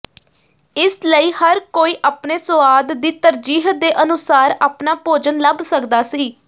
ਇਸ ਲਈ ਹਰ ਕੋਈ ਆਪਣੇ ਸੁਆਦ ਦੀ ਤਰਜੀਹ ਦੇ ਅਨੁਸਾਰ ਆਪਣਾ ਭੋਜਨ ਲੱਭ ਸਕਦਾ ਸੀ